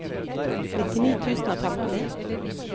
nittini tusen og femti